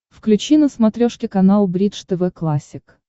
включи на смотрешке канал бридж тв классик